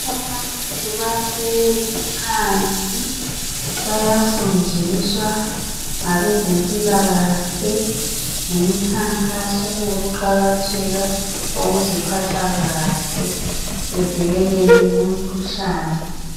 Abantu bahlezi phansi bayafundiswa ngabezempilakahle ngemikhankaso yokuqakatheka kokuziphatha kahle bevikeleke kumikhuhlane.